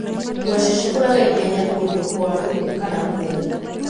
Ngwaci cikũraga ihenya kũndũ kwaru kana kũmũ.